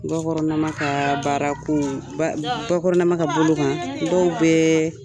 gakɔrɔnama kaa baara koo ba gakɔrɔnama ka bolo kan dɔw bɛɛ